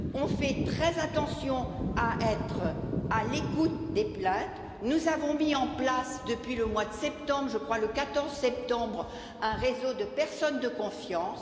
Nous faisons très attention à être à l'écoute des plaintes. Nous avons mis en place depuis le mois de septembre, le 14 septembre je crois, un réseau de personnes de confiance.